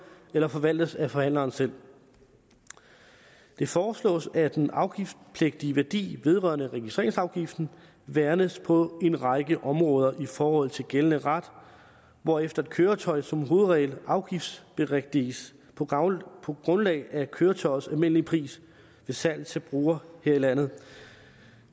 eller forvaltes af forhandleren selv det foreslås at den afgiftspligtige værdi vedrørende registreringsafgiften værnes på en række områder i forhold til gældende ret hvorefter et køretøj som hovedregel afgiftsberigtiges på grundlag af køretøjets almindelige pris ved salg til brugere her i landet